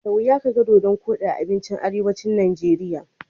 Da wuya kaga dodon koɗi a abincin arewacin Najeriya.